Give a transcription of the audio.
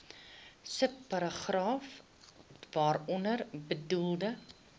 subparagraaf waaronder bedoelde